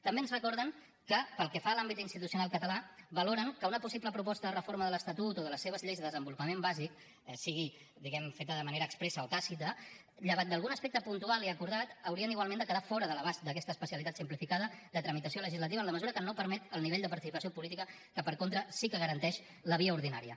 també ens recorden que pel que fa a l’àmbit institucional català valoren que una possible proposta de reforma de l’estatut o de les seves lleis de desenvolupament bàsic sigui diguem ne feta de manera expressa o tàcita llevat d’algun aspecte puntual i acordat haurien igualment de quedar fora de l’abast d’aquesta especialitat simplificada de tramitació legislativa en la mesura que no permet el nivell de participació política que per contra sí que garanteix la via ordinària